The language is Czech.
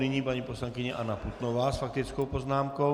Nyní paní poslankyně Anna Putnová s faktickou poznámkou.